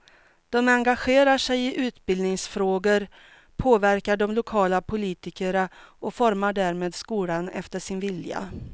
De engagerar sig i utbildningsfrågor, påverkar de lokala politikerna och formar därmed skolan efter sin vilja.